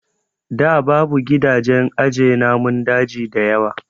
Da babu gidajen aje namun daji dayawa